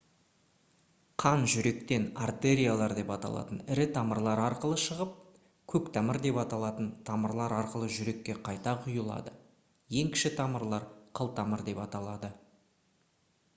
қан жүректен артериялар деп аталатын ірі тамырлар арқылы шығып көктамыр деп аталатын тамырлар арқылы жүрекке қайта құйылады ең кіші тамырлар қылтамыр деп аталады